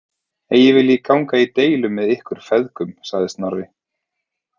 Eigi vil ég ganga í deilu með ykkur feðgum, sagði Snorri.